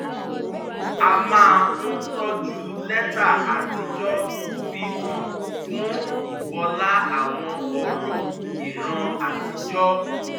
a máa ń tọ́jú lẹ́tà àtijọ́ fi hàn fún ìbọlá àwọn ọ̀rọ̀ ìran àtijọ́